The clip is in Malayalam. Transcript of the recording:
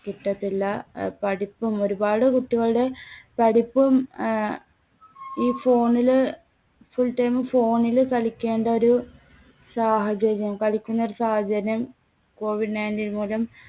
കിട്ടത്തില്ല. അഹ് പഠിപ്പും ഒരുപാട് കുട്ടികളുടെ പഠിപ്പും ആഹ് ഈ phone ല് full time phone ല് കളിക്കേണ്ട ഒരു സാഹചര്യം പഠിക്കുന്ന ഒരു സാഹചര്യം കോവിഡ് nineteen മൂലം